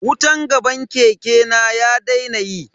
Wutan gaban keke na ya daina yi.